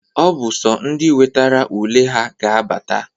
Ọ bụ sọ ndị nwetara ule ha ga-abata.